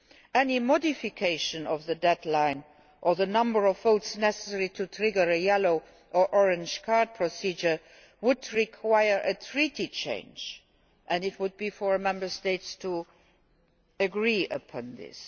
Any modification of the deadline, or the number of votes necessary to trigger a yellow or orange card procedure would require a treaty change and it would be for Member States to agree upon this.